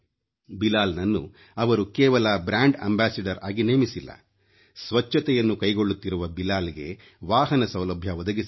ಬಿಲಾಲ್ನನ್ನು ಅವರು ಕೇವಲ brand ambassador ಆಗಿ ನೇಮಿಸಿಲ್ಲ ಸ್ವಚ್ಛತೆಯನ್ನು ಕೈಗೊಳ್ಳುತ್ತಿರುವ ಬಿಲಾಲ್ಗೆ ವಾಹನ ಸೌಲಭ್ಯ ಒದಗಿಸಿದ್ದಾರೆ